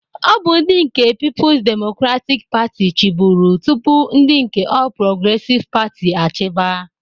Ọ bụ ndị nke Pipus Demokratik Patị chịburu tụpụ ndị nke Ọl Progresịv Patị achiba.